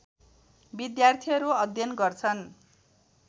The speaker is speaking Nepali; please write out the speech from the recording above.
विद्यार्थीहरू अध्ययन गर्छन्